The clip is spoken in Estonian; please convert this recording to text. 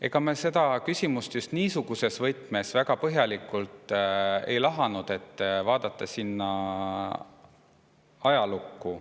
Ega me seda küsimust just niisuguses võtmes väga põhjalikult ei lahanud, vaadates ajalukku.